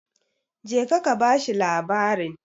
jeka ka bashi labarin!